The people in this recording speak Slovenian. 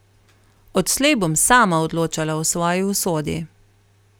Odslej bom sama odločala o svoji usodi.